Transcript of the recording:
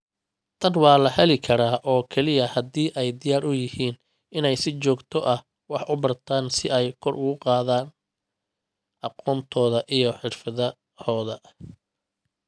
Tan waxa la heli karaa oo keliya haddii ay diyaar u yihiin inay si joogto ah wax u bartaan si ay kor ugu qaadaan aqoontooda iyo xirfadahooda.